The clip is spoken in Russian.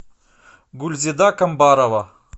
гульзида комбарова